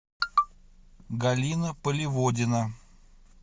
галина поливодина